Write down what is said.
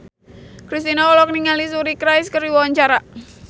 Kristina olohok ningali Suri Cruise keur diwawancara